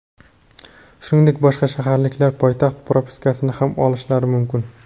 Shuningdek, boshqa shaharliklar poytaxt propiskasini ham olishlari mumkin.